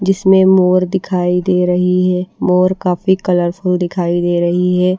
जिसमें मोर दिखाई दे रही है मोर काफी कलरफुल दिखाई दे रही है।